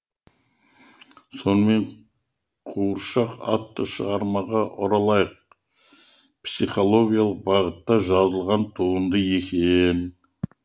сонымен қуыршақ атты шығармаға оралайық психологиялық бағытта жазылған туынды екен